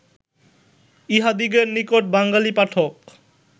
ইঁহাদিগের নিকট বাঙ্গালী পাঠক